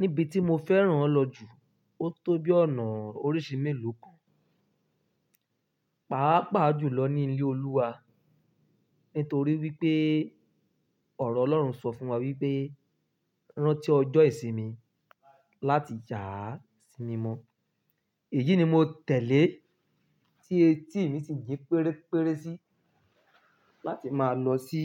Níbi tí mo fẹ́ran lọ jù, ó tó bí ọ̀nà oríṣii mélòó kan. Pàápàá jùlọ ni ilé Olúwa, nítorí wípé ọ̀rọ̀ Ọlọ́run sọ fún wa wípé, "Rántí ọjọ́ ìsinmi láti yà á si mi mọ́." Èyí ni mo tẹ̀lé tí etí mi sì ń jí péréré sí, láti máa lọ sí